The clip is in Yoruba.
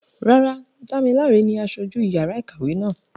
Rárá, Damilare ni aṣojú yàrá ìkàwé náà.